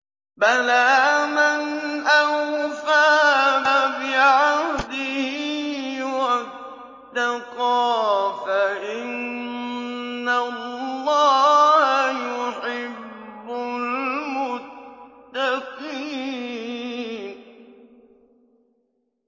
بَلَىٰ مَنْ أَوْفَىٰ بِعَهْدِهِ وَاتَّقَىٰ فَإِنَّ اللَّهَ يُحِبُّ الْمُتَّقِينَ